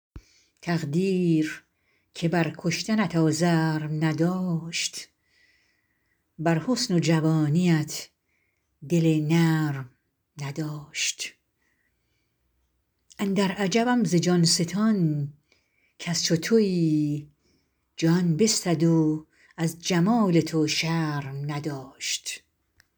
تقدیر که بر کشتنت آزرم نداشت بر حسن و جوانیت دل نرم نداشت اندر عجبم ز جان ستان کز چو تویی جان بستد و از جمال تو شرم نداشت